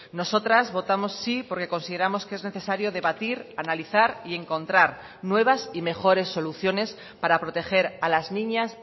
nosotras votamos sí porque consideramos que es necesario debatir analizar y encontrar nuevas y mejores soluciones para proteger a las niñas